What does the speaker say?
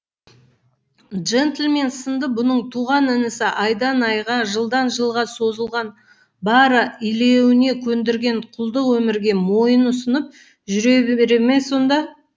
джентльмен сынды бұның туған інісі айдан айға жылдан жылға созылған илеуіне көндірген құлдық өмірге мойын ұсынып жүре бере ме сонда